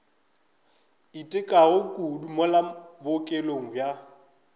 itekago kudu mola bookelong bja